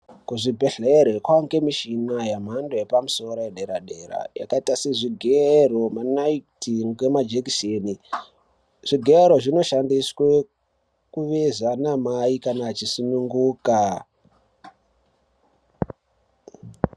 Kuzvibhedhleri kwaangemishina yemhando yepamosoro yedera-dera. Yakaita sezvigero, manaiti ngemajekiseni. Zvigero zvinoshandiswe kuveza mamai kana achisununguka.